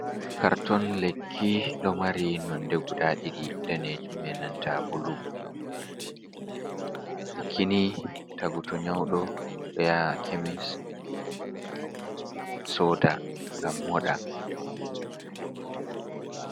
Karton lekki ɗo mari nonde guda ɗiɗi denejum be nanta bulu. Lekini tagu to nyauɗo ɗo yaha kemis soda ngam moɗa.